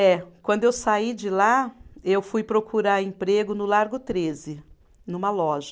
É. Quando eu saí de lá, eu fui procurar emprego no Largo treze, numa loja.